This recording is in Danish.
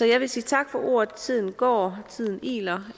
jeg vil sige tak for ordet tiden går tiden iler